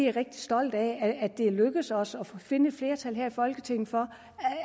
er rigtig stolt af at det er lykkedes os at finde et flertal her i folketinget for